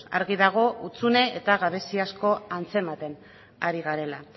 argi dago hutsune eta gabezi asko antzematen ari garela